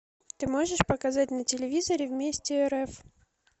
ты можешь показать на телевизоре вместе рф